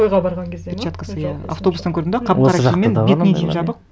тойға барған кезде ме перчаткасы иә автобустан көрдің бе қап қара киіммен бетіне дейін жабық